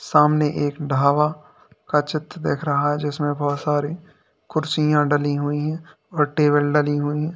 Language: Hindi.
सामने एक ढाबा का चित्र देख रहा है जिसमें बहुत सारी कुर्सियां डाली हुई है और टेबल डाली हुई है।